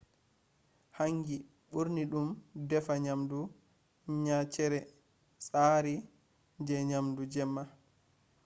hangi ɓurna ɗo defa nyamdu nyaceere tsari je nyamdu jemma